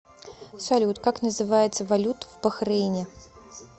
салют как называется валюта в бахрейне